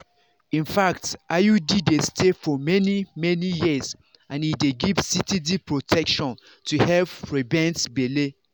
infact iud dey stay for many-many years and e dey give steady protection to help prevent belle.